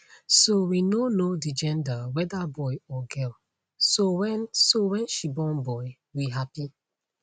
so we no know di gender weda boy or girl so wen so wen she born boy we happy